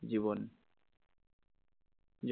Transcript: জীবন